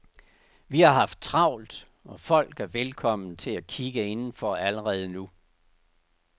Vi har haft travlt og folk er velkomne til at kigge indenfor allerede nu.